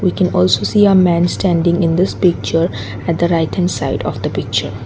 we can also see a men standing in this picture at the right hand side of the picture.